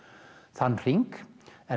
þann hring